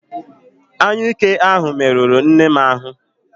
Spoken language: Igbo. Anyụike ahụ merụrụ nnem ahụ